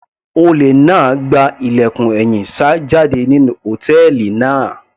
Olè náà gba ilẹ̀kùn ẹ̀yìn sá jáde nínú hòtẹ́ẹ̀lì náà.